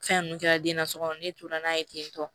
Fɛn ninnu kɛra den na sokɔnɔ ne tora n'a ye ten tɔ